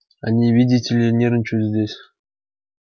они видите ли нервничают здесь